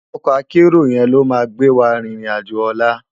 Òkò àkèéró yèn ló má gbéwá ririn àjó òlá